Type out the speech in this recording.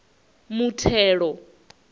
muthelo